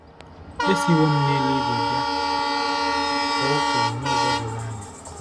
“Esiwo m n’eluigwe bịa ,” ka o kwuru n’ụzọ doro anya.